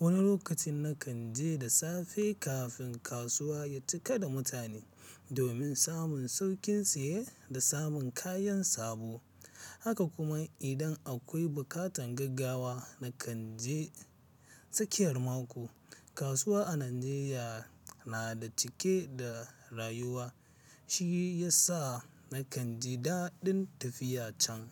Wani lokacin na kan je da safe kafin kasuwa ya cika da mutane, domin samun sauƙin siye da samun kayan sabo. Haka kuma idan akwai buƙatar gaggawa, na kan je tsakiyar mako. Kasuwa a Najeriya na da cike da rayuwa, shi ya sa na kanji daɗin tafiya can.